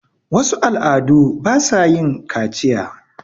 wasu al' adu ba sa yin kaciya